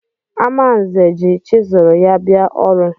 Amanze ji chizụl ya bịa ọrụ.